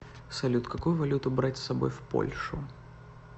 салют какую валюту брать с собой в польшу